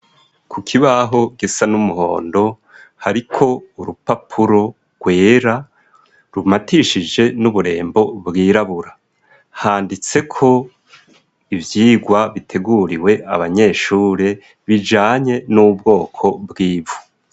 Ku kibaho gisa n'umuhondo hariko urupapuro rwera rumatishije n'uburembo bwirabura. Handitseko ivyigwa biteguriwe abanyeshure, bijanye n'ubwoko bw'ivu.